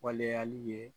Waleyali ye